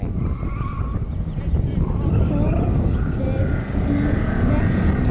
Horfðu í vestur og.